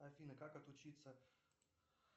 афина как отучиться